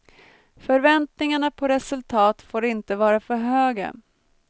Förväntningarna på resultat får inte vara för höga.